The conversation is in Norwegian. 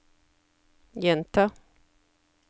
gjenta